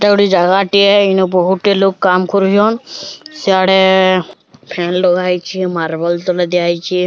ଏଇଟା ଗୋଟିଏ ଜାଗା ଟିଏ ଇନ ବୋହୁଟେ ଲୋଗ୍ କାମ୍ କରୁଚନ୍ ସିଆଡେ ଫ୍ୟାନ ଲଗାହେଇଛି ମାର୍ବଲ୍ ତଲେ ଦିଆହେଇଛି।